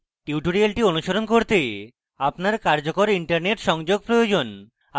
tutorial অনুসরণ করতে আপনার কার্যকর internet সংযোগ প্রয়োজন